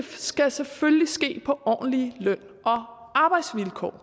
skal selvfølgelig ske på ordentlige løn og arbejdsvilkår